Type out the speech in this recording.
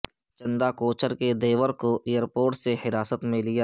چندا کوچر کے دیور کو ایئرپورٹ سے حراست میں لیا